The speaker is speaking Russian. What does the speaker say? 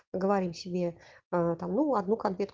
говорим себе там ну одну конфету